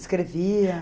Escrevia?